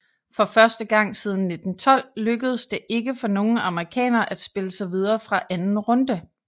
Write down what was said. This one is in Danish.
For første gang siden 1912 lykkedes det ikke for nogen amerikanere at spille sig videre fra anden runde